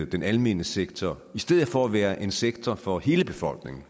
den almene sektor i stedet for at være en sektor for hele befolkningen